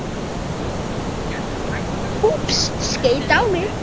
Þessi kenning var lengi umdeild en hefur reynst vera rétt.